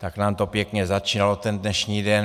Tak nám to pěkně začínalo ten dnešní den.